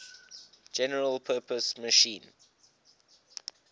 general purpose machine